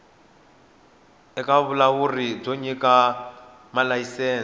eka vulawuri byo nyika malayisense